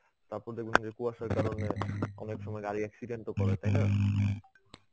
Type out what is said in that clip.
তারপর দেখবেন যে কুয়াশার কারণে অনেক সময় গাড়ি accident ও করে তাই না?